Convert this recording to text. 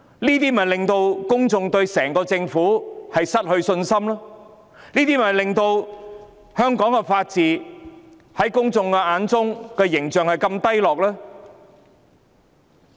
這事令公眾對政府失去信心，也令香港法治的形象低落。